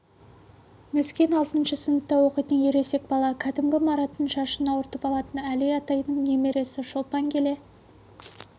нүскен алтыншы сыныпта оқитын ересек бала кәдімгі мараттың шашын ауыртып алатын әли атайдың немересі шолпан келе